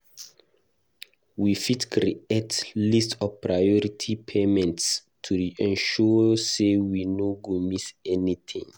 We fit create list of priority payments to ensure sey we no go miss anything.